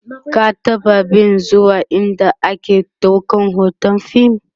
ka taɓa be zuwa ind ake ɗaukan hoton fim?